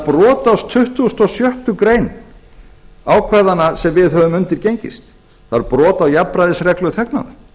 brot á tuttugustu og sjöttu grein ákvæðanna sem við höfum undirgengist það er brot á jafnræðisreglu þegnanna